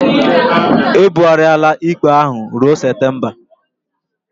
E bughariala ikpe ahụ ruo Septemba